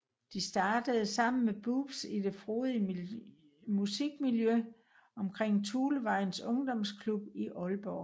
De startede sammen Boobs i det frodige musikmiljø omkring Thulevejens Ungdomsklub i Aalborg